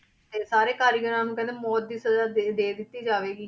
ਤੇ ਸਾਰੇ ਕਾਰੀਗਰਾਂ ਨੂੰ ਕਹਿੰਦੇ ਮੌਤ ਦੀ ਸਜ਼ਾ ਦੇ, ਦੇ ਦਿੱਤੀ ਜਾਵੇਗੀ